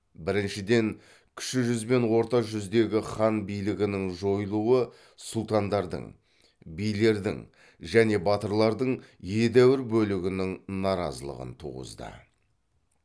біріншіден кіші жүз бен орта жүздегі хан билігінің жойылуы сұлтандардың билердің және батырлардың едәуір бөлігінің наразылығын туғызды